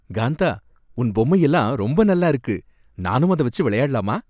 காந்தா, உன் பொம்மை எல்லாம் ரொம்ப நல்லா இருக்கு. நானும் அத வச்சு விளையாடலாமா?